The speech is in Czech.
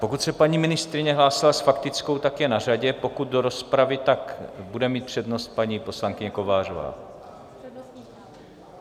Pokud se paní ministryně hlásila s faktickou, tak je na řadě, pokud do rozpravy, tak bude mít přednost paní poslankyně Kovářová.